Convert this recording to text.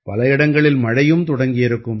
பல இடங்களில் மழையும் தொடங்கியிருக்கும்